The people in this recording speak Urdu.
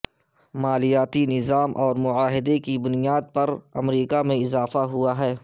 مالیاتی نظام اور معاہدے کی بنیاد پر امریکہ میں اضافہ ہوا ہے